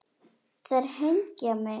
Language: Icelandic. Þeir hengja mig?